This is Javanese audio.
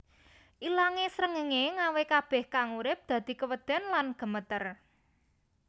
Ilangé srengenge ngawe kabeh kang urip dadi keweden lan gemeter